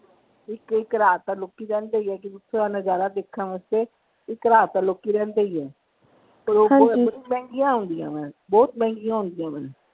ਇਕ ਇਕ ਰਾਤ ਤਾਂ ਲੋਕੀ ਰਹਿੰਦੇ ਹੀ ਆ ਕਿਉਂਕਿ ਓਥੇ ਦਾ ਨਜਾਰਾ ਦੇਖਣ ਵਾਸਤੇ ਇੱਕ ਰਾਤ ਤਾਂ ਲੋਕੀ ਰਹਿੰਦੇ ਹੀ ਆ ਮਹਿੰਗੀਆਂ ਹੁੰਦੀਆਂ ਆ ਬਹੁਤ ਮਹਿੰਗੀਆਂ ਹੁੰਦੀਆਂ ਵਾ।